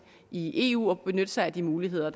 i eu og benytte sig af de muligheder